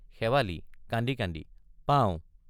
শেৱালি—কান্দি কান্দি পাওঁ।